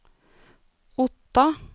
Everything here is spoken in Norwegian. Otta